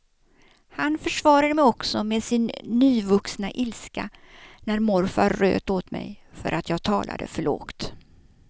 Han försvarade mig också med sin nyvuxna ilska när morfar röt åt mig för att jag talade för lågt.